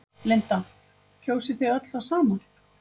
Linda: Kjósið þið öll það sama?